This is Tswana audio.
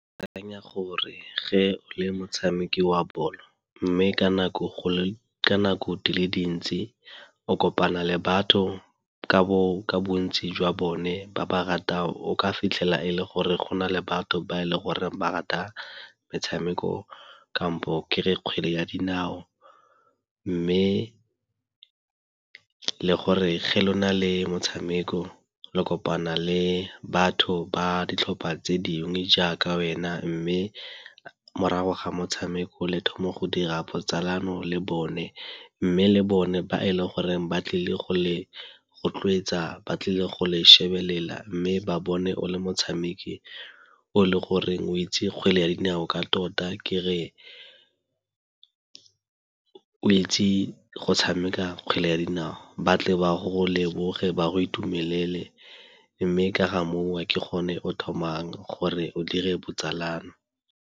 Ke akanya gore ge le motshameki wa bolo mme ka nako dile dintsi o kopana le batho ka bontsi jwa bone ba ba ratang. O ka fitlhela e le gore go na le batho ba e le gore ba rata metshameko kampo ke re ya kgwele ya dinao, mme le gore ge le go na le motshameko la kopana le batho ba ditlhopha tse dingwe jaaka wena mme morago ga motshameko le thoma go dira botsalano le bone. Mme le bone ba e leng goreng ba tlile go le rotloetsa ba tlile go le shebelela mme ba bone o le motshameki o le gore o etse kgwele ya dinao ka tota ke re o etse go tshameka kgwele ya dinao ba tle ba go leboge ba go itumelele mme ka ga moo ke gone o thomameng gore o dire botsalano.